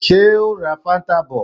Ṣé o ó ra fáńtà bọ̀?